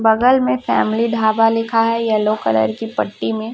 बगल में फैमिली ढाबा लिखा है येलो कलर की पट्टी में--